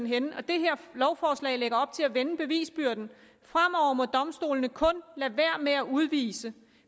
henne og det her lovforslag lægger op til at vende bevisbyrden fremover må domstolene kun lade være med at udvise